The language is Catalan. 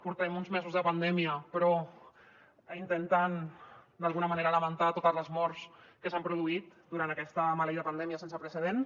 portem uns mesos de pandèmia però intentant d’alguna manera lamentar totes les morts que s’han produït durant aquesta maleïda pandèmia sense precedents